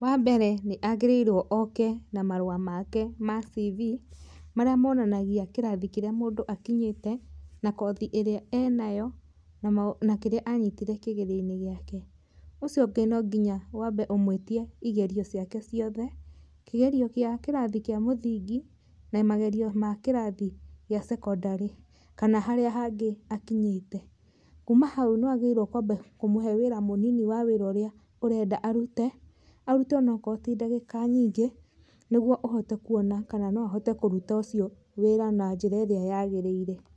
Wambere nĩ agĩrĩirwo oke na marũa make ma C.V marĩa monanagia kĩrathi kĩrĩa mũndũ akinyĩte, na kothi ĩrĩa enayo na kĩrĩa anyitire kĩgerio-inĩ gĩake. Ũcio ũngĩ no nginya wambe ũmũitie igerio ciake ciothe, kĩgerio kĩa kĩrathi kĩa mũthingi na magerio ma kĩrathi gĩa cekondarĩ kana harĩa hangĩ akinyĩte. Kuma hau nĩ wagĩrĩiruo kwamba kũmũhe wĩra mũnini wa wĩra ũrĩa ũrenda arute, arute onokorwo ti ndagĩka nyingĩ nĩguo ũhote kuona kana no ahote kũruta ũcio wĩra na njĩra ĩrĩa yagĩrĩire.